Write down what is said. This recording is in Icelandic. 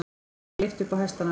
Þeim var lyft upp á hestana.